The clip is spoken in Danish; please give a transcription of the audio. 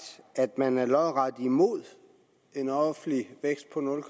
at man er lodret imod en offentlig vækst på nul